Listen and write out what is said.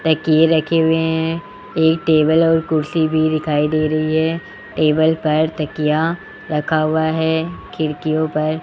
तकिए रखे हुए हैं एक टेबल और कुर्सी भी दिखाई दे रही है टेबल पर तकिया रखा हुआ है खिड़कियों पर --